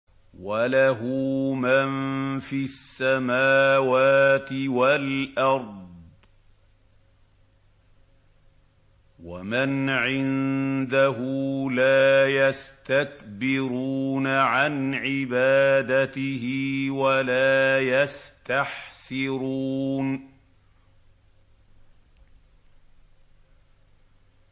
وَلَهُ مَن فِي السَّمَاوَاتِ وَالْأَرْضِ ۚ وَمَنْ عِندَهُ لَا يَسْتَكْبِرُونَ عَنْ عِبَادَتِهِ وَلَا يَسْتَحْسِرُونَ